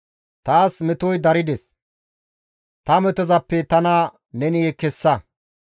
Taas metoy darides; ta metozappe tana neni kessa.